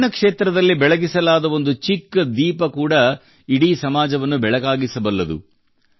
ಶಿಕ್ಷಣ ಕ್ಷೇತ್ರದಲ್ಲಿ ಬೆಳಗಿಸಲಾದ ಒಂದು ಚಿಕ್ಕ ದೀಪ ಕೂಡಾ ಇಡೀ ಸಮಾಜವನ್ನು ಬೆಳಕಾಗಿಸಬಲ್ಲದು